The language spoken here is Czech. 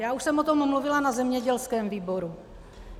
Já už jsem o tom mluvila na zemědělském výboru.